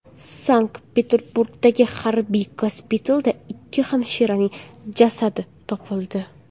Sankt-Peterburgdagi harbiy gospitalda ikki hamshiraning jasadi topildi.